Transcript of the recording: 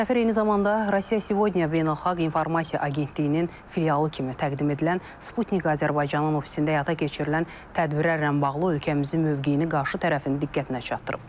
Səfir eyni zamanda Russia Today beynəlxalq informasiya agentliyinin filialı kimi təqdim edilən Sputnik Azərbaycanın ofisində həyata keçirilən tədbirlərlə bağlı ölkəmizin mövqeyini qarşı tərəfin diqqətinə çatdırıb.